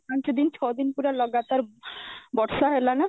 ପାଞ୍ଚଦିନ ଛଅ ଦିନ ପୁରା ଲଗାତାର ବର୍ଷା ହେଲା ନା